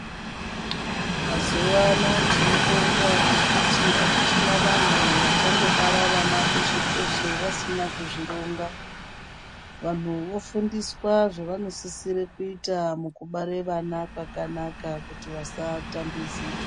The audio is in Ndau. Mazuano tinobonga ngekuti akuchina vanhu vachangobara vana peshe-peshe vasina kuzvironga, vanhu vofundiswa zvanosisirwe kuita mukubare vana kwakanak kuti vasatambudzika.